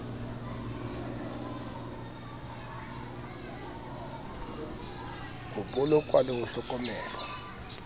ho bolokwa le ho hlokomelwa